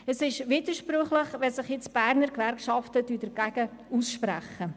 Es ist widersprüchlich, wenn sich nun die Berner Gewerkschaften dagegen aussprechen.